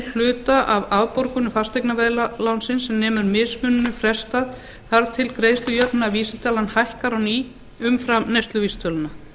hluta af afborgunum fasteignaveðlánsins sem nemur mismuninum frestað þar til greiðslujöfnunarvísitalan hækkar á ný umfram neysluvísitöluna